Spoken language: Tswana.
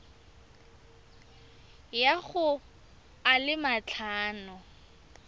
ya go a le matlhano